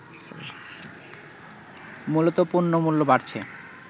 মূলত পণ্যমূল্য বাড়ছে